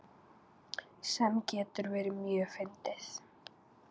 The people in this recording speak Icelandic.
Sem getur verið mjög fyndið.